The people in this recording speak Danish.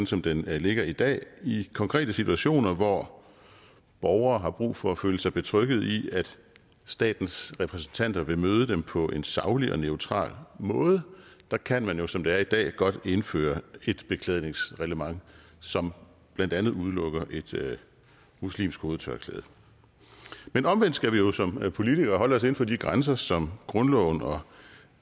som den ligger i dag i konkrete situationer hvor borgere har brug for at føle sig betrygget i at statens repræsentanter vil møde dem på en saglig og neutral måde der kan man jo som det er i dag godt indføre et beklædningsreglement som blandt andet udelukker et muslimsk hovedtørklæde men omvendt skal vi jo som politikere holde os inden for de grænser som grundloven og